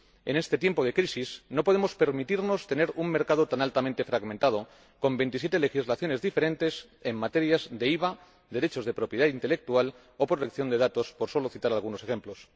En este tiempo de crisis no podemos permitirnos tener un mercado tan altamente fragmentado, con veintisiete legislaciones diferentes en materia de IVA, derechos de propiedad intelectual o protección de datos, por solo citar algunos ejemplos.